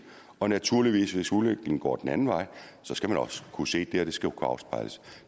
og naturligvis hvis udviklingen går den anden vej skal man også kunne se det og det skal kunne afspejles